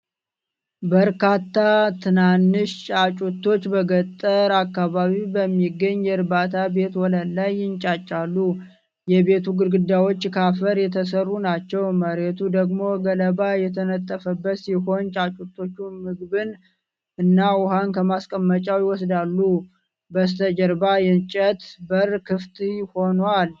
በርካታ ትናንሽ ጫጩቶች በገጠር አካባቢ በሚገኝ የእርባታ ቤት ወለል ላይ ይንጫጫሉ። የቤቱ ግድግዳዎች ከአፈር የተሰሩ ናቸው፣ መሬቱ ደግሞ ገለባ የተነጠፈበት ሲሆን ጫጩቶቹ ምግብና ውሃ ከማስቀመጫዎች ይወስዳሉ። በስተጀርባ የእንጨት በር ክፍት ሆኗል።